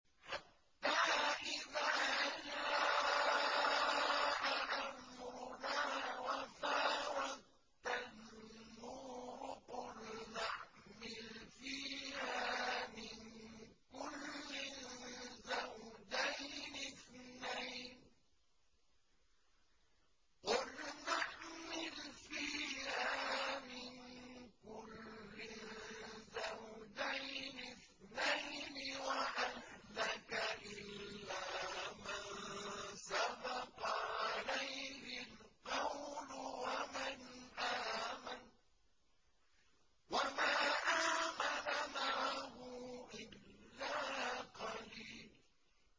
حَتَّىٰ إِذَا جَاءَ أَمْرُنَا وَفَارَ التَّنُّورُ قُلْنَا احْمِلْ فِيهَا مِن كُلٍّ زَوْجَيْنِ اثْنَيْنِ وَأَهْلَكَ إِلَّا مَن سَبَقَ عَلَيْهِ الْقَوْلُ وَمَنْ آمَنَ ۚ وَمَا آمَنَ مَعَهُ إِلَّا قَلِيلٌ